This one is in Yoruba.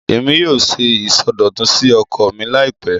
Èmi yóò ṣe ìsọdọ̀tun sí oko mi láìpẹ́